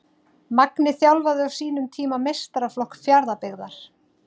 Magni þjálfaði á sínum tíma meistaraflokk Fjarðabyggðar.